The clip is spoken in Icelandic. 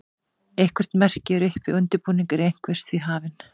eitthvert merki er uppi og undirbúningur einhvers því hafinn